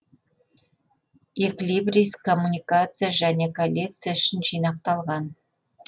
эклибрис коммуникация және коллекция үшін жинақталған